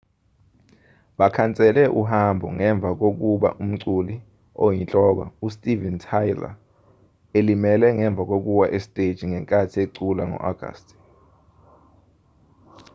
bakhansele uhambo ngemva kokuba umculi oyinhloko u-steven tyler elimele ngemva kokuwa esiteji ngenkathi ecula ngo-agasti